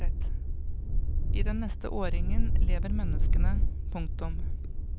I den neste årringen lever menneskene. punktum